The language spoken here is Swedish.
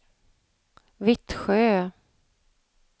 Vittsjö